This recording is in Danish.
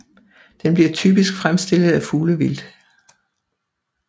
Den bliver typisk fremstillet af fuglevildt